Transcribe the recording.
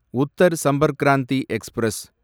Uttar Sampark Kranti express